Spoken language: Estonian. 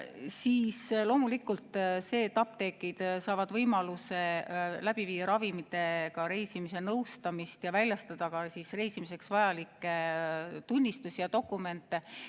Siis loomulikult see, et apteekrid saavad võimaluse läbi viia ravimitega reisimise nõustamist ja väljastada ka reisimiseks vajalikke tunnistusi ja dokumente.